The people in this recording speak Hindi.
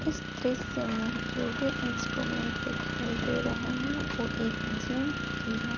इस दृश्य में जो भी इंस्टूमेंट दिखाई दे रहे हैं वो एक जिम की है।